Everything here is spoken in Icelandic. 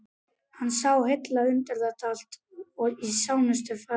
Hann sá hilla undir þetta allt í nánustu framtíð.